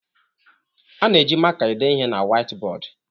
A na-eji maka ede ihe na Waitibọọdụ